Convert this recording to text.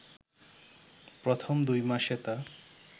প্রথম দুই মাসে তা